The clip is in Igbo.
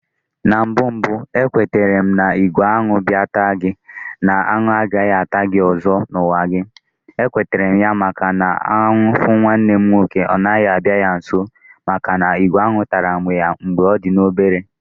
Na mbụ mbụ ekwetera na igwe Añụ bịa taa gi, na anụ agaghị ata gị ọzọ na ụwa gị, ekweterem ya, maka na anụ fu nwanne m nwoke ọ naghị abịa ya nso maka na ìgwè añụ tara ya mgbe ọ dị obere